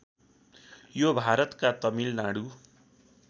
यो भारतका तमिलनाडु